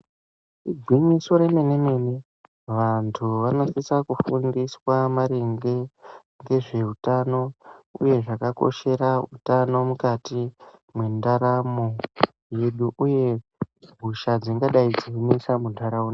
Igwinyiso remene mene vantu vanosisa kufundiswa maringe ngezveutano uye zvakakoshera utano mukati mwendaramo yedu uye hosha dzingadai dzeinetsa mundaraunda.